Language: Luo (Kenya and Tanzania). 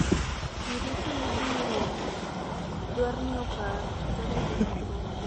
jii duto ibiron dwar ni opar tarige mag romo